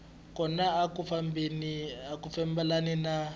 kona a ya fambelani ni